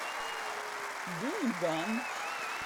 дунган